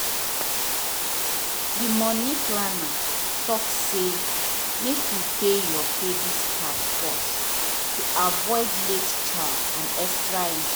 di money planner talk say make you pay your credit card first to avoid late charge and extra interest.